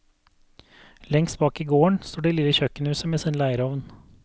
Lengst bak i gården står det lille kjøkkenhuset med sin leirovn.